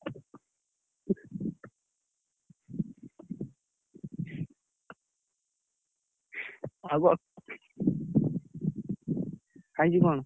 ଆଉ କଣ ଖାଇଛୁ କଣ?